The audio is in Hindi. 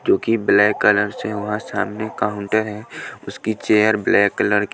जो कि ब्लैक कलर से वहां सामने काउंटर है उसकी चेयर ब्लैक कलर की--